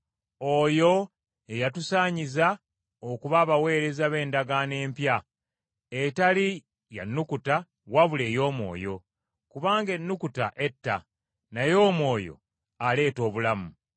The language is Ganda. oyo ye yatusaanyiza okuba abaweereza b’endagaano empya etali ya nnukuta wabula ey’omwoyo. Kubanga ennukuta etta, naye omwoyo aleeta obulamu.